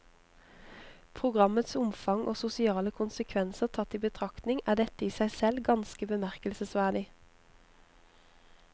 Programmets omfang og sosiale konsekvenser tatt i betraktning er dette i seg selv ganske bemerkelsesverdig.